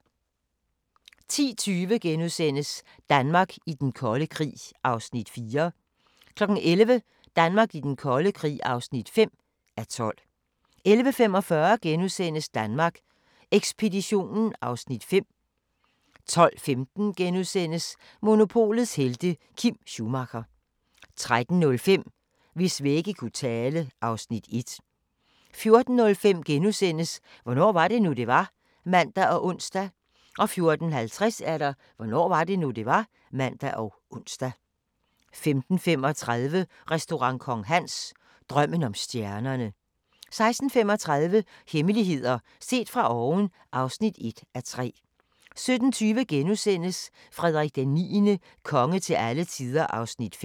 10:20: Danmark i den kolde krig (4:12)* 11:00: Danmark i den kolde krig (5:12) 11:45: Danmark Ekspeditionen (Afs. 5)* 12:15: Monopolets helte - Kim Schumacher * 13:05: Hvis vægge kunne tale (Afs. 1) 14:05: Hvornår var det nu, det var? *(man og ons) 14:50: Hvornår var det nu, det var? (man og ons) 15:35: Restaurant Kong Hans – drømmen om stjernerne 16:35: Hemmeligheder set fra oven (1:3) 17:20: Frederik IX – konge til alle tider (5:6)*